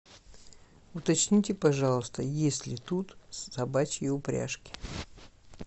уточните пожалуйста есть ли тут собачьи упряжки